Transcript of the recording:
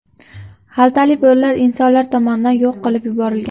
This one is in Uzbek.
Xaltali bo‘rilar insonlar tomonidan yo‘q qilib yuborilgan.